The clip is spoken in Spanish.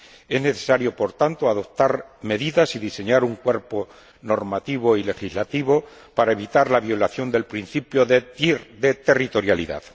Es necesario, por tanto, adoptar medidas y diseñar un cuerpo normativo y legislativo para evitar la violación del principio de territorialidad.